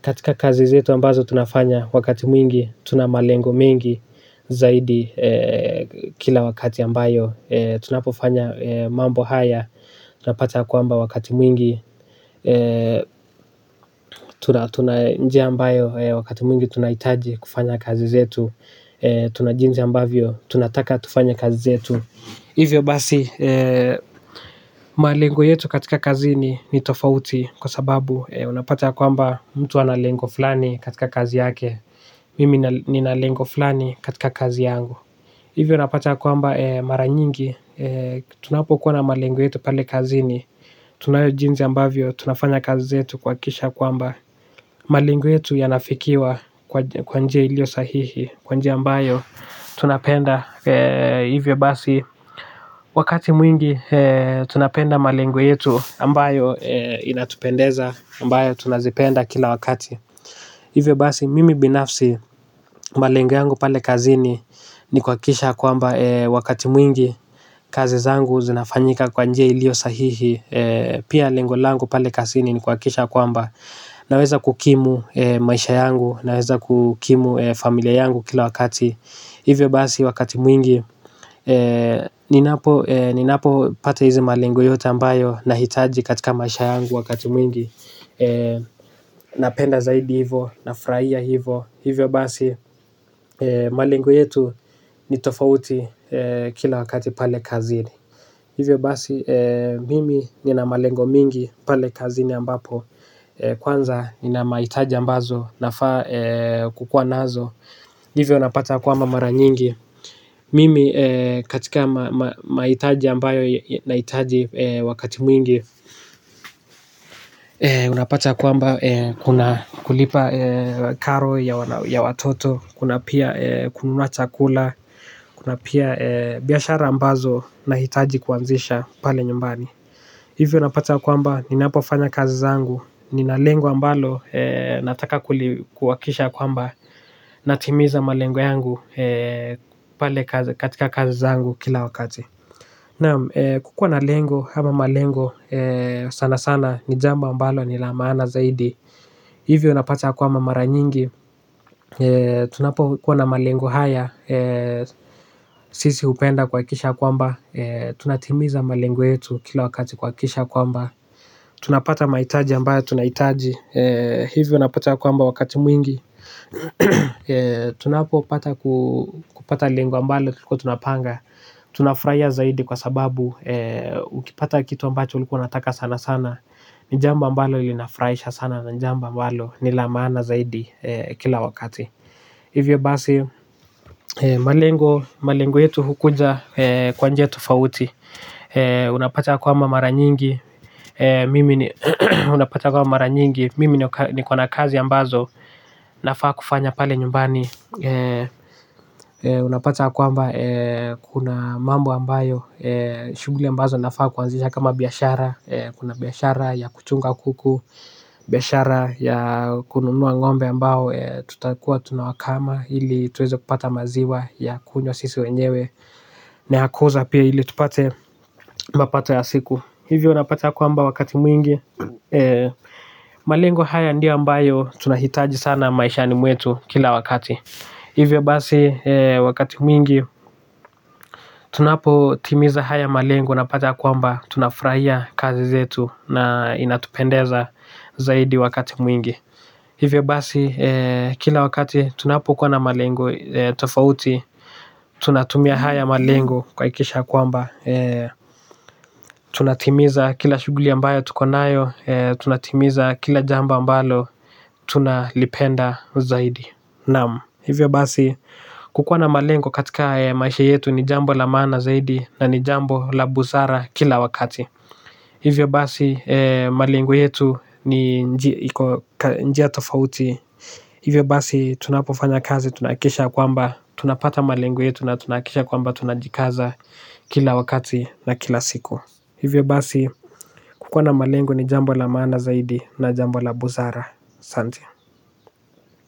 katika kazi zetu, ambazo tunafanya wakati mwingi, tuna malengo mengi zaidi kila wakati ambayo tunapofanya mambo haya tunapata kwamba wakati mwingi tuna njia ambayo wakati mwingi tunahitaji kufanya kazi zetu, tuna jinsi ambavyo tunataka tufanye kazi zetu. Hivyo basi malengo yetu katika kazi ni ni tofauti. Kwa sababu, unapata kwamba mtu ana lengo fulani katika kazi yake. Mimi nina lengo fulani katika kazi yangu. Hivyo unapata kwamba mara nyingi, tunapo kuwa na malengo yetu pale kazini, tunayo jinsi ambavyo tunafanya kazi zetu kuhakikisha kwamba malengo yetu yanafikiwa kwa njia ilio sahihi, kwa njia ambayo tunapenda. Hivyo basi wakati mwingi tunapenda malengo yetu ambayo inatupendeza, ambayo tunazipenda kila wakati. Hivyo basi mimi binafsi malengo yangu pale kazini. Ni kuhakikisha kwamba wakati mwingi kazi zangu zinafanyika kwa njia ilio sahihi. Pia lengo langu pale kazini ni kuhakikisha kwamba naweza kukimu maisha yangu, naweza kukimu familia yangu kila wakati. Hivyo basi wakati mwingi ninapo pata hizi malengo yote ambayo nahitaji katika maisha yangu wakati mwingi. Napenda zaidi hivo, nafurahia hivo. Hivyo basi malengo yetu ni tofauti kila wakati pale kazini. Hivyo basi, mimi nina malengo mingi pale kazini ambapo, kwanza nina mahitaji ambazo nafaa kukuwa nazo. Hivyo napata kwamba mara nyingi mimi katika mahitaji ambayo nahitaji wakati mwingi unapata kwamba kuna kulipa karo ya watoto, kuna pia kununua chakula, kuna pia biashara ambazo nahitaji kuanzisha pale nyumbani, hivyo unapata kwamba ninapofanya kazi zangu, nina lengo ambalo nataka kuhakikisha kwamba, natimiza malengo yangu pale katika kazi zangu kila wakati. Kukuwa na lengo ama malengo sana sana ni jambo ambalo ni la maana zaidi. Hivyo unapata, kwamba mara nyingi tunapokuwa na malengo haya sisi hupenda kuhakikisha kwamba tunatimiza malengo yetu kila yetu kuhakikisha kwamba, tunapata mahitaji ambayo tunahitaji, hivyo unapata kwamba wakati mwingi. Tunapopata kupata lengo ambalo tulikuwa tunapanga, tunafurahia zaidi kwa sababu ukipata kitu ambacho ulikuwa unataka sana sana ni jambo ambalo unafurahia sana na ni jambo ambalo lina maana zaidi kila wakati. Hivyo basi malengo yetu hukuja kwa njia tofauti unapata kwamba mara nyingi mimi niko na kazi ambazo nafaa kufanya pale nyumbani. Unapata ya kwamba kuna mambo ambayo nafaa kuanzisha kama biashara. Kuna biashara ya kuchunga kuku, biashara ya kununua ng'ombe ambao tutakuwa tunawakama ili tuweze kupata maziwa ya kunywa sisi wenyewe. Naya kuuza pia ili tupate mapato ya siku, hivyo unapata ya kwamba wakati mwingi malengo hayo ndiyo ambayo tunahitaji sana maishani mwetu kila wakati. Hivyo basi wakati mwingi tunapotimiza haya malengo unapata kwamba tunafurahia kazi zetu na inatupendeza zaidi wakati mwingi. Hivyo basi, kila wakati tunapokuwa na malengo tofauti. Tunatumia haya malengo kuhakikisha kwamba, tunatimiza kila shughuli ambayo tukonayo. Tunatimiza kila jambo ambalo tunalipenda zaidi. Naam, hivyo basi kukuwa na malengo katika maisha yetu ni jambo la maana zaidi. Na ni jambo la busara kila wakati. Hivyo basi, malengo yetu ni njia tofauti. Hivyo basi, tunapofanya kazi tunahakikisha kwamba tunapata malengo yetu na tunahakikisha kwamba tunajikaza kila wakati na kila siku. Hivyo basi, kukuwa na malengo ni jambo la maana zaidi na jambo la busara. Asanti.